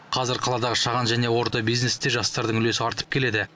қазір қаладағы шағын және орта бизнесте жастардың үлесі артып келеді